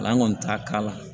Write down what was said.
Ala kɔni t'a k'a la